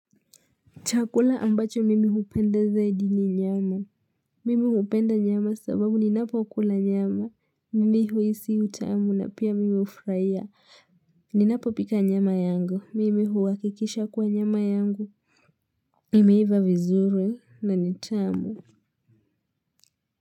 Chakula ambacho mimi hupenda zaidi ni nyama. Mimi hupenda nyama sababu ninapokula nyama. Mimi huhisi utamu na pia mimi hufurahia. Ni napo pika nyama yangu. Mimi huhakikisha kuwa nyama yangu. Imeiva vizuri na ni tamu.